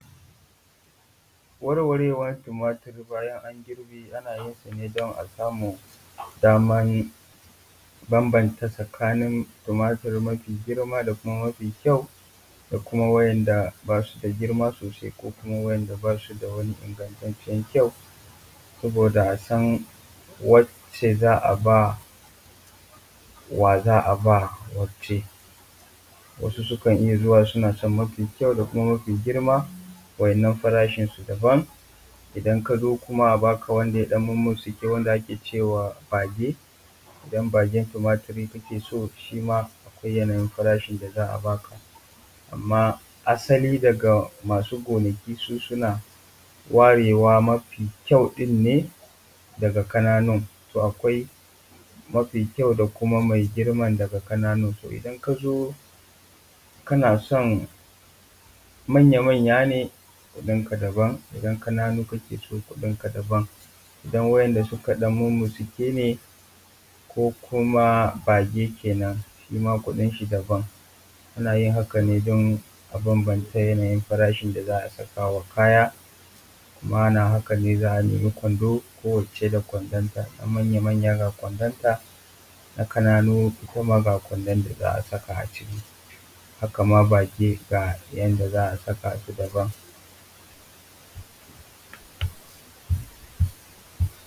Warwarewan tumatur bayana an girbe ana yin sa ne don a samu daman bambanta tsakanin tumatur mafi girma, da kuma mafi kyau, da kuma wa'inda ba su da girma sosai, ko kuma wa'inda ba su da wani ingantacen kyau. Saboda a san wace za a ba wa za a ba wace wasu sukan iya zuwa suna son mafi kyau, da kuma mafi girma. Wa'inan farashinsu daban idan ka zo kuma a baka wanda ya mummutsike ne wanda ake cewa bage. Idan bagen tumaturi kake so, shi ma akwai yanayin farashin da za a ba ka. Amma asali daga masu gonaki su suna warewa mafi kyau ɗin ne daga ƙananu. To akwai mafi kyau, da kuma mafi girma daga ƙananu. To idan ka zo kana son manya manya, ne kuɗinka daban. Idan ƙananu kake so kuɗinka daban, idan wa'inda suka ɗan mumutsuke ne ko kuma bage kenan shima kuɗin shi daban. Ana yin hakan ne don a bambance yanayin farashin da za a saka wa kaya, kuma ana hakan ne za a nema kwando ko wace da kwandonta na manya manya ga kwandonta, na ƙananu kuma ga kwandon da za a saka a ciki, haka ma bage ga yanda za a saka ta daban.